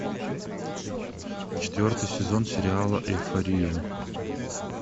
четвертый сезон сериала эйфория